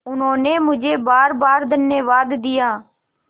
उन्होंने मुझे बारबार धन्यवाद दिया